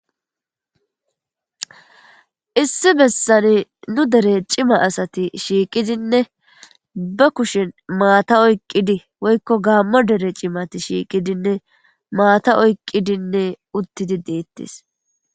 Issi bessan nu dere cima asati shiqqidinne be kushshen maata oyqqidi woykko gaamo deere cimmati shiqqidine maata oyqqidinne uttidi dettes.